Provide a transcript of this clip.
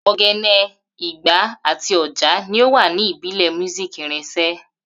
Ogene, igba, ati oja ni o wa ibile music irinṣẹ.